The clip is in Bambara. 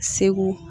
Segu